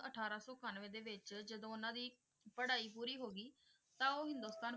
ਅਠਾਰਾਂ ਸੋ ਇਕਾਨਵੇਂ ਦੇ ਵਿੱਚ ਜਦੋਂ ਉਹਨਾਂ ਦੀ ਪੜ੍ਹਾਈ ਪੂਰੀ ਹੋ ਗਈ ਤਾਂ ਉਹ ਹਿੰਦੁਸਤਾਨ